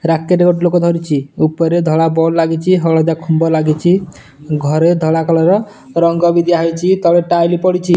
Racket ଗୋଟେ ଲୋକ ଧରିଚି ଉପରେ ଧଳା ବଲ୍ ଲାଗିଚି ହଳଦିଆ ଖୁମ୍ବ ଲାଗିଚି ଘରେ ଧଳା କଲର ର ରଙ୍ଗ ବି ଦିଆ ହେଇଚି ତଳେ ଟାଇଲି ପଡିଚି।